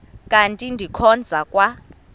kanti ndikhonza kwa